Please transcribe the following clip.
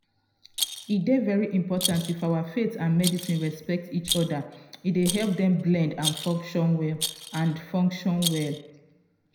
e dey very important if our faith and medicine respect each other e dey help dem blend and function well. and function well.